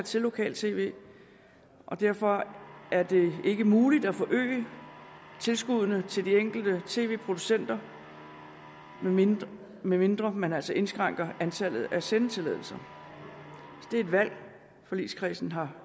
til lokal tv og derfor er det ikke muligt at forøge tilskuddene til de enkelte tv producenter medmindre medmindre man altså indskrænker antallet af sendetilladelser det er et valg forligskredsen har